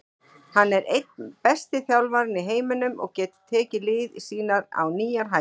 Hann er einn besti þjálfarinn í heiminum og getur tekið lið sín á nýjar hæðir.